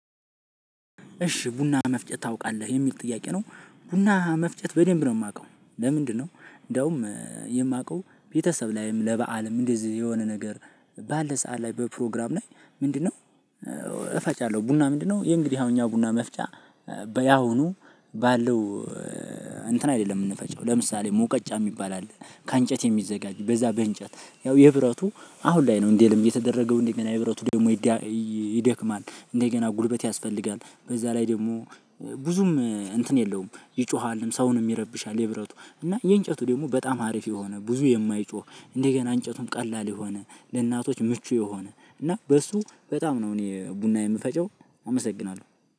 እሺ ቡና መፍጨት ታውቃለህ የሚል ጥያቄ ነው። ቡና መፍጨት በደንብ ነው የማውቀው። ለምንድነው? እንደውም የማውቀው ቤተሰብ ላይም ለበአልም እንደዚህ የሆነ ነገር። ባለ ሰዓት ላይ በፕሮግራም ላይ ምንድነው? እፈጫለሁ ቡና ምንድነው እንግዲህ አሁን እኛ ቡና መፍጫ። በያሁኑ ባለው እንትን አይደለም የምንፈጨው ለምሳሌ መውቀጫ የሚባል አለ። ከእንጨት የሚዘጋጅ በዛ በእንጨት ያው የብረቱ አሁን ላይ ነው እንደ ልምድ የተደረገው እንደገና የብረቱ ደግሞ ይደክማል። እንደገና ጉልበት ያስፈልጋል በዛ ላይ ደግሞ ብዙም እንትን የለውም ይጮሃልም ሰውንም ይረብሻል። የብረቱ እና የእንጨቱ ደግሞ በጣም አሪፍ የሆነ ብዙ የማይጮህ እንደገና እንጨቱም ቀላል የሆነ ለእናቶች ምቹ የሆነ እና በሱ በጣም ነው እኔ ቡና የምፈጨው። አመሰግናለሁ